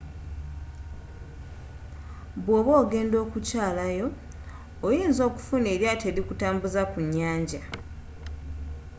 bw'oba ogenda okukyalayo oyinza okufunayo eryaato erikutambuza ku nyanja